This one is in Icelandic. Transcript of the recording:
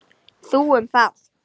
Þú um það.